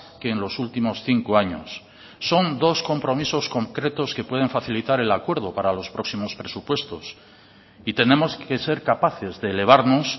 que en los últimos cinco años son dos compromisos concretos que pueden facilitar el acuerdo para los próximos presupuestos y tenemos que ser capaces de elevarnos